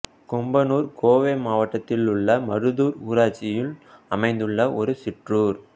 கெம்பனூர் கோவை மாவட்டத்திலுள்ள மருதூர் ஊராட்சியில் அமைந்துள்ள ஒரு சிற்றூர்